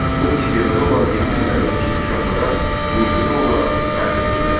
O istedada olan yetim və yoxsul uşaqlara müntəzəm olaraq qayğı göstərirdi.